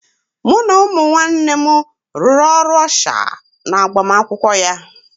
Mụ na ụmụ nwanne m rụrụ ọrụ ọsha n'agbamakwụkwọ ya